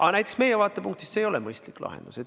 Aga näiteks meie vaatepunktist see ei ole mõistlik lahendus.